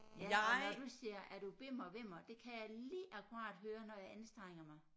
Altså når du siger er du bimmer vimmer det kan jeg lige akkurat høre når jeg anstrenger mig